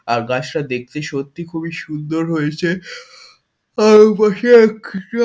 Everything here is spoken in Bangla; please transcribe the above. আকাশটা দেখতে সত্যি খুবই সুন্দর হয়েছে আর পাশে একটা --